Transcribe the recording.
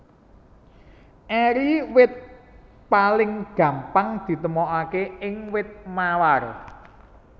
Eri wit paling gampang ditemokaké ing wit mawar